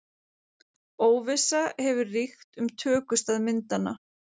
Þeir stefndu síðan til Bessastaða en skip þeirra steytti á skeri.